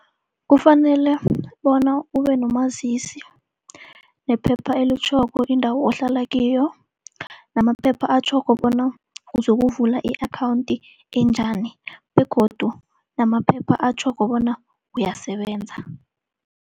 Kufanele bona ube nomazisi, nephepha elitjhoko indawo ohlala kiyo, namaphepha atjhoko bona uzokuvula i-akhawunti enjani, begodu namaphepha atjhoko bona uyasebenza.